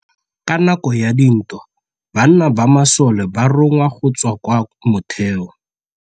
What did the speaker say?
Ka nakô ya dintwa banna ba masole ba rongwa go tswa kwa mothêô.